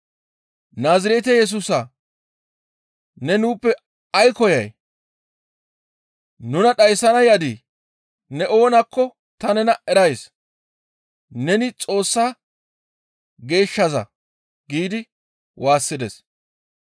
«Naazirete Yesusa ne nuuppe ay koyay? Nuna dhayssana yadii? Ne oonakko ta nena erays; neni Xoossa geeshshaza» giidi waassides.